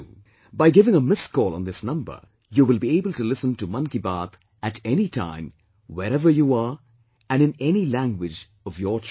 By giving a missed call on this number, you will be able to listen to 'Mann Ki Baat' at any time, wherever you are and in any language of your choice